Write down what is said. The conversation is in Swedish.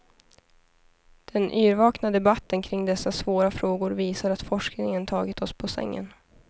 Den yrvakna debatten kring dessa svåra frågor visar att forskningen tagit oss på sängen.